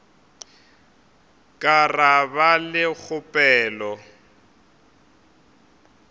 ka ra ba le kgopelo